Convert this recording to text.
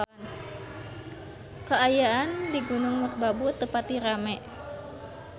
Kaayaan di Gunung Merbabu teu pati rame